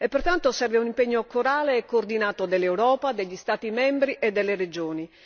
Pertanto serve un impegno corale e coordinato dell'Europa, degli Stati membri e delle regioni.